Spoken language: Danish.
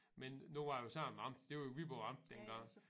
Men nu var det jo samme amt det var jo Viborg amt dengang